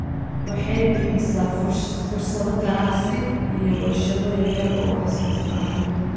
Waxay bixisaa fursado ganacsi iyo warshado yaryar oo wax soo saar leh.